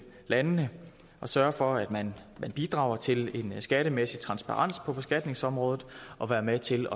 landene sørge for at man bidrager til skattemæssig transparens på beskatningsområdet og være med til